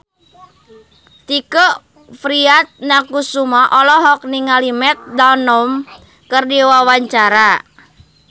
Tike Priatnakusuma olohok ningali Matt Damon keur diwawancara